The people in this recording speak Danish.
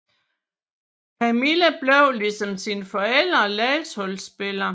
Camilla blev som sine forældre landsholdsspiller